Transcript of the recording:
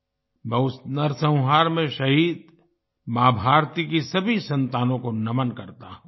मैं उस नरसंहार में शहीद माँ भारती की सभी संतानों को नमन करता हूँ